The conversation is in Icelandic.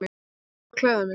Ég þarf að klæða mig.